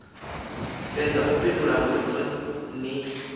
fhedza u fhindula mbudziso ni